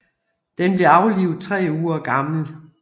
Den blev aflivet tre uger gammel